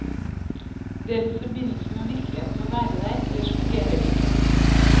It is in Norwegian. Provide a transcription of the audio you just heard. Deres forbindelse med virkeligheten må være der, ellers fungerer det ikke.